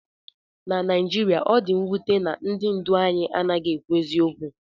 Na Naijiria, ọ dị mwute na ndị ndu anyị anaghị ekwu eziokwu